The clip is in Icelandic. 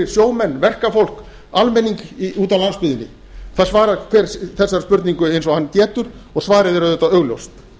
sjómenn verkafólk almenning úti á landsbyggðinni það svarar hver þessari spurningu eins ári hann getur og svarið er auðvitað augljóst